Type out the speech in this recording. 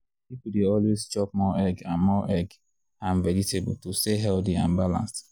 people dey always chop more egg and more egg and vegetable to stay healthy and balanced.